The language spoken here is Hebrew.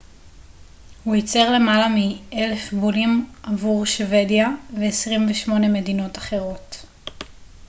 הוא ייצר למעלה מ־1,000 בולים עבור שוודיה ו־28 מדינות אחרות